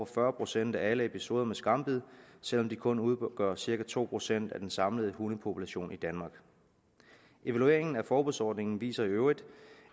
fyrre procent af alle episoder med skambid selv om de kun udgør cirka to procent af den samlede hundepopulation i danmark evalueringen af forbudsordningen viser i øvrigt